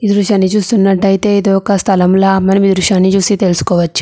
ఈ దృశ్యాన్ని చూస్తునట్టు అయితే ఇది ఒక స్థలం లాగా మనం ఈ దృశ్యాన్ని చూసి తెలుసుకోవచ్చు.